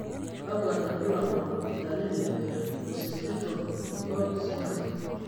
kakwa irbulabol o dalili e Occipital horn syndrome?